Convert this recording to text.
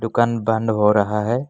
दुकान बंद हो रहा हैं।